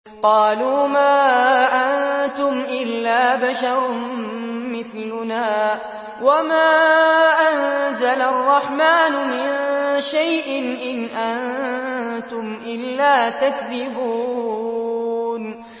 قَالُوا مَا أَنتُمْ إِلَّا بَشَرٌ مِّثْلُنَا وَمَا أَنزَلَ الرَّحْمَٰنُ مِن شَيْءٍ إِنْ أَنتُمْ إِلَّا تَكْذِبُونَ